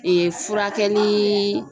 furakɛli